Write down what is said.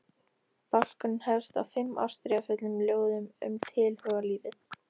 Bálkurinn hefst á fimm ástríðufullum ljóðum um tilhugalífið.